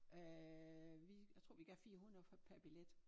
Øh vi jeg tror vi gav 400 for per billet